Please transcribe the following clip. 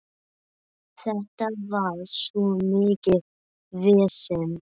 Þetta var svo mikið vesen.